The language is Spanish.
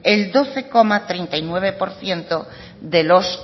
el doce coma treinta y nueve por ciento de los